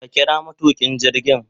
Ka kira matukin jirgin